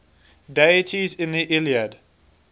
deities in the iliad